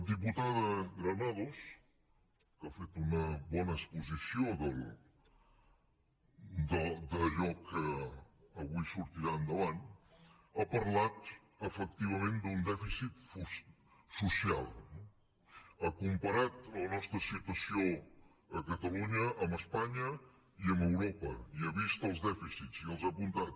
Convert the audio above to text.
la diputada granados que ha fet una bona exposició d’allò que avui sortirà endavant ha parlat efectivament d’un dèficit social ha comparat la nostra situació a catalunya amb espanya i amb europa i ha vist els dèficits i els ha apuntat